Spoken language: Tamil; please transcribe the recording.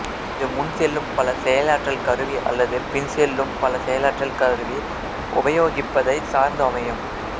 இது முன்செல்லும் பல செயலாற்றல் கருவி அல்லது பின் செல்லும் பல செயலாற்றல் கருவி உபயோகிப்பதை சார்ந்து அமையும்